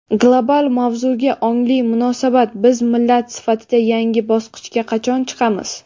Global mavzuga ongli munosabat: Biz millat sifatida yangi bosqichga qachon chiqamiz?.